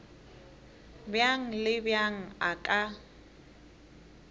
bjang le bjang a ka